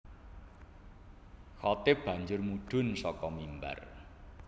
Khatib banjur mudhun saka mimbar